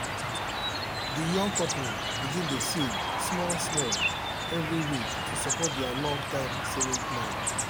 the young couple begin dey save small-small every week to support their long-term savings plan.